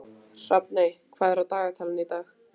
Hrafney, hvað er í dagatalinu í dag?